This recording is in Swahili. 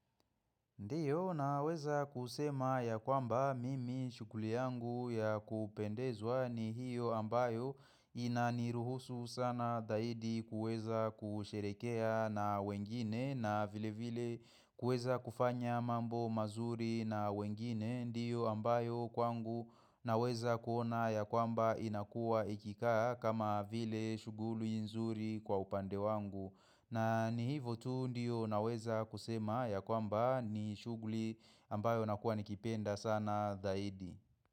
Ndio naweza kusema ya kwamba mimi shughuli yangu ya kupendezwa ni hiyo ambayo inaniruhusu sana zaidi kuweza kusherehekea na wengine na vile vile kuweza kufanya mambo mazuri na wengine. Ndio ambayo kwangu naweza kuona ya kwamba inakuwa ikikaa kama vile shughuli nzuri kwa upande wangu. Na ni hivyo tu ndio naweza kusema ya kwamba ni shughuli ambayo nakuwa nikipenda sana zaidi.